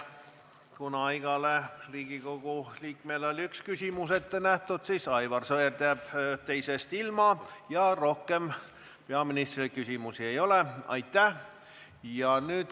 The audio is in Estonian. Kuna igale Riigikogu liikmele oli ette nähtud üks küsimus, siis Aivar Sõerd jääb teisest ilma ja rohkem küsimusi peaministrile ei ole.